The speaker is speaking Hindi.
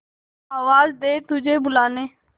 आवाज दे तुझे बुलाने